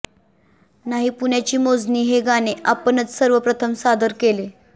नाही पुण्याची मोजणी हे गाणे आपणच सर्वप्रथम सादर केले